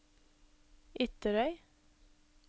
Ytterøy